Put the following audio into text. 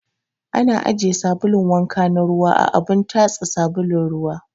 Ana ajiye sabulun wanka na ruwa a abun tatsa sabulun ruwa